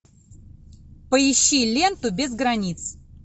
поищи ленту без границ